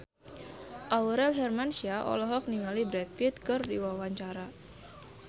Aurel Hermansyah olohok ningali Brad Pitt keur diwawancara